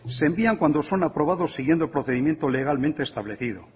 se envían cuando son aprobados siguiendo el procedimiento legalmente establecido